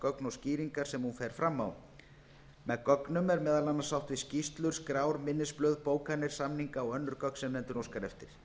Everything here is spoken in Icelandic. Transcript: gögn og skýringar sem hún fer fram á með gögnum er meðal annars átt við skýrslur skrár minnisblöð bókanir samninga og önnur gögn sem nefndin óskar eftir